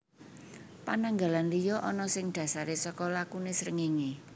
Pananggalan liya ana sing dhasaré saka lakuné srengéngé